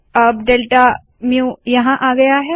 अब delta mu यहाँ आया है